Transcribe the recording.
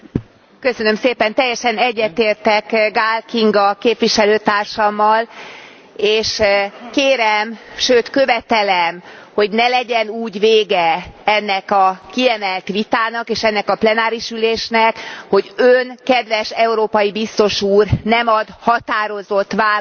Teljesen egyetértek Gál Kinga képviselőtársammal és kérem, sőt követelem, hogy ne legyen úgy vége ennek a kiemelt vitának, és ennek a plenáris ülésnek, hogy Ön, kedves európai biztos úr, nem ad határozott választ arra,